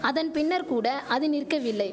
அதன் பின்னர் கூட அது நிற்கவில்லை